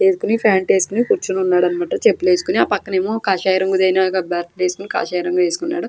వేసోకొని pant వేసోకొని కోర్చునాడు అన్న మాట చెప్పులు వేసుకొని ఆ పక్కన ఏమో కాషాయం రంగు వేసుకున్నాడు.